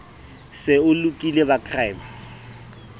se o lokile ba crime